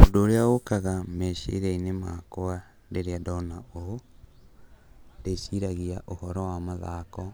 Ũndũ ũrĩa ũkaga meciria-inĩ makwa rĩrĩa ndona ũũ, ndĩciragia ũhoro wa mathako,